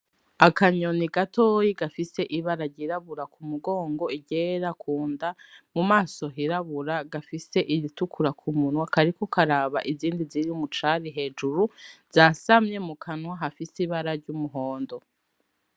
Akanyoni gatoyi gafise ibara ryirabura k'umugongo iryera kunda mu maso hirabura gafise iritukura ku munwa kariko karaba izindi ziri mu cari hejuru zasamye mu kanwa hafise ibara ry'umuhondo.